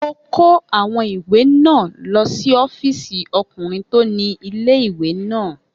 Mo kó àwọn ìwé náà lọ sí ọ́fìsì ọkùnrin tó ni ilé-ìwé náà